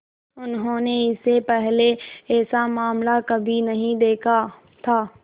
उन्होंने इससे पहले ऐसा मामला कभी नहीं देखा था